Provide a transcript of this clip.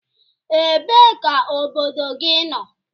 Ebee ka obodo gị nọ?